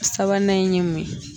Sabanan in ye mun yen.